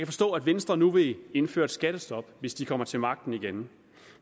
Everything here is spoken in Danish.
forstå at venstre nu vil indføre et skattestop hvis de kommer til magten igen